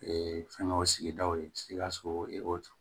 fɛnkɛw sigidaw ye sikaso